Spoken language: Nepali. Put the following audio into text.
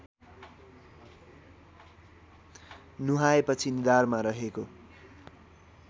नुहाएपछि निधारमा रहेको